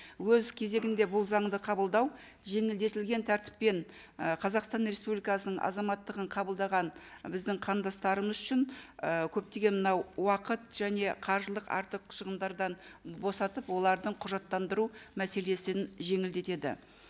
өз кезегінде бұл заңды қабылдау жеңілдетілген тәртіппен і қазақстан республикасының азаматтығын қабылдаған біздің қандастарымыз үшін і көптеген мынау уақыт және қаржылық артық шығымдардан босатып олардың құжаттандыру мәселесін жеңілдетеді